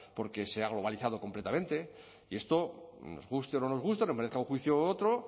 porque se ha globalizado completamente y esto nos guste o no nos guste nos merezca un juicio u otro